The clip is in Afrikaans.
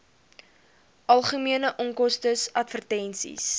algemene onkoste advertensies